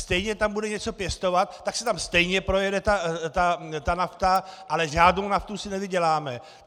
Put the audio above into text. Stejně tam bude něco pěstovat, tak se tam stejně projede ta nafta, ale žádnou naftou si nevyděláme.